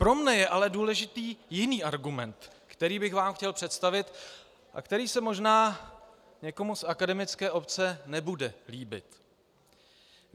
Pro mne je ale důležitý jiný argument, který bych vám chtěl představit a který se možná někomu z akademické obce nebude líbit.